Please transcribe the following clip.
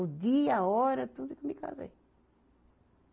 O dia, a hora, tudo que eu me casei.